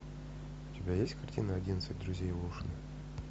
у тебя есть картина одиннадцать друзей оушена